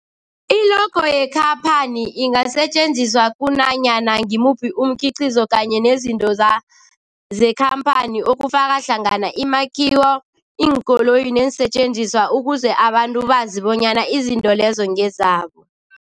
I-logo yekhaphani ingasetjenziswa kunanyana ngimuphi umkhiqizo kanye nezinto za zekhamphani okufaka hlangana imakhiwo, iinkoloyi neensentjenziswa ukuze abantu bazi bonyana izinto lezo ngezabo.